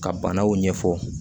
Ka banaw ɲɛfɔ